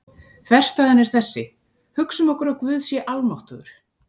Þverstæðan er þessi: Hugsum okkur að Guð sé almáttugur.